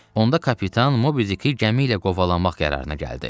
Onda kapitan Mobi Diki gəmi ilə qovalanmaq qərarına gəldi.